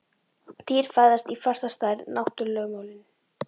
Dýr fæðast í fasta stærð: náttúrulögmálin.